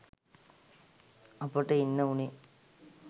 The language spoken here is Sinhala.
අපට ඉන්න වුණේ